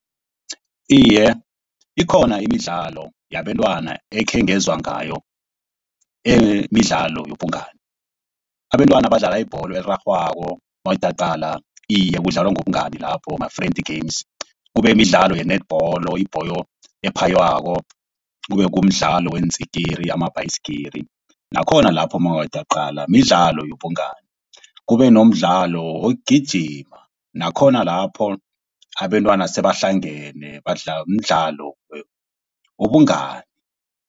Iye ikhona imidlalo yabentwana ekhengezwa ngayo. Emidlalo yobungani, abentwana abadlala ibholo erarhwako. Iye kudlalwa ngobungani lapho ma-friendly games. Kube midlalo ye-netball, ibholo ephaywako, kube kumdlalo weentsikiri amabhasigili. Nakhona lapho mawungathi uyaqala, midlalo yobungani. Kube nomdlalo wokugijima nakhona lapho abentwana sebahlangene mdlalo wobungani.